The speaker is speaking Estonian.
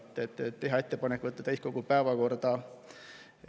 teha ettepanek võtta eelnõu täiskogu päevakorda.